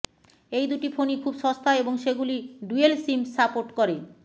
এই দুটি ফোনই খুব সস্তা এবং সেগুলি ডুয়েল সিম সাপোর্ট করে